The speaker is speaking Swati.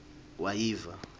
wayiva